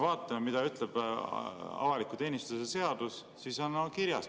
Vaatame, mida ütleb avaliku teenistuse seadus.